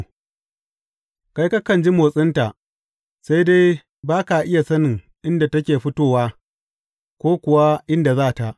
Kai kakan ji motsinta, sai dai ba ka iya sanin inda take fitowa ko kuwa inda za ta.